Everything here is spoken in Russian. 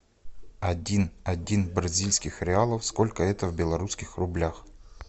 один один бразильских реалов сколько это в белорусских рублях